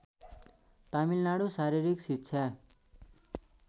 तमिलनाडु शारीरिक शिक्षा